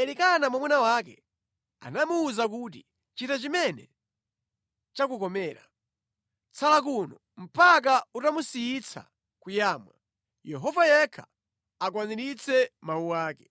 Elikana mwamuna wake anamuwuza kuti, “Chita chimene chakukomera. Tsala kuno mpaka utamusiyitsa kuyamwa, Yehova yekha akwaniritse mawu ake.”